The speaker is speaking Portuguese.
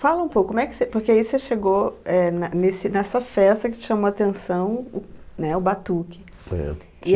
Fala um pouco, como é que você, porque aí você chegou eh ne nesse nessa festa que te chamou atenção, o, né, o batuque. É.